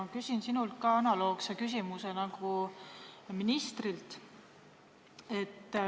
Ma küsin sinult analoogse küsimuse nagu ministrilt.